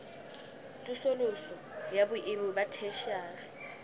tsosoloso ya boemo ba theshiari